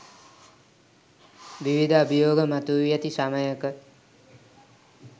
විවිධ අභියෝග මතුවී ඇති සමයක